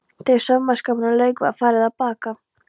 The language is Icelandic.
Þegar saumaskapnum lauk var farið að baka.